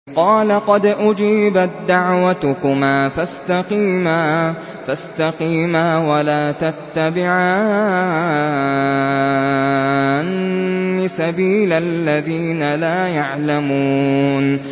قَالَ قَدْ أُجِيبَت دَّعْوَتُكُمَا فَاسْتَقِيمَا وَلَا تَتَّبِعَانِّ سَبِيلَ الَّذِينَ لَا يَعْلَمُونَ